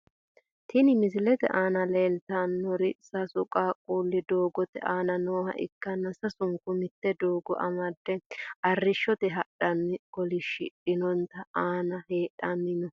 Tini misilete aana leeltanori sasu qaaquli doogote aana nooha ikanna sausnku mitte doogo amade arishshote hadhani kobilistoonete aana hadhani no.